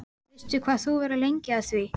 Veistu hvað þú verður lengi að því?